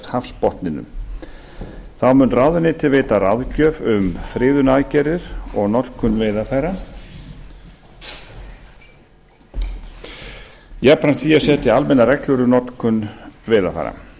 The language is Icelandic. hafsbotninum þá mun ráðuneytið veita ráðgjöf um friðunaraðgerðir og notkun veiðarfæra jafnframt því að setja almennar reglur um notkun veiðarfæra